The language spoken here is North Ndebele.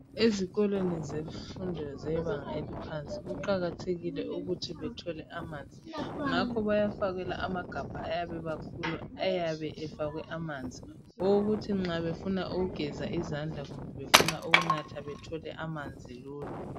Ezikukolweni zemfundo zebanga eliphansi kuqakathekile ukuthi bethole amanzi ngakho bayafakelwa amagabha ayabe emakhulu ayabe efakwe amanzi okokuthi nxa befuna ukugeza izandla kumbe befuna ukunatha bathole amanzi lula.